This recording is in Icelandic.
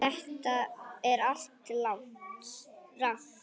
Þetta er allt rangt.